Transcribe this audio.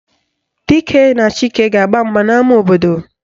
Dike na Chike ga-agba mgba n'ama obodo